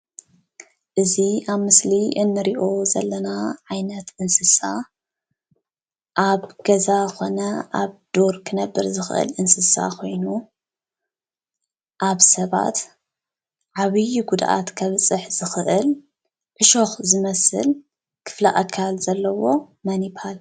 እዚ ኣብ ምስሊ እንሪኦ ዘለና ዓይነት እንስሳ ኣብ ገዛ ኮነ ኣብ ዱር ክነብር ዝክእል እንስሳ ኮይኑ ኣብ ሰባት ዓብይ ጉድኣት ከብፅሕ ዝክእል ዕሾክ ዝመስል ክፍሊ ኣካል ዘለዎ መን ይብሃል?